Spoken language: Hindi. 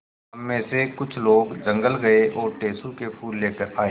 हम मे से कुछ लोग जंगल गये और टेसु के फूल लेकर आये